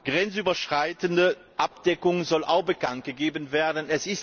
Grenzüberschreitende Abdeckung soll auch bekanntgegeben werden.